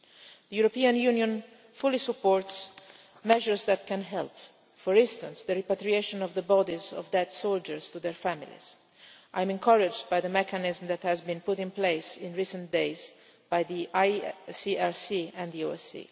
stop. The European Union fully supports measures that can help, for instance, with the repatriation of the bodies of dead soldiers to their families. I am encouraged by the mechanism that has been put in place in recent days by the ICRC and the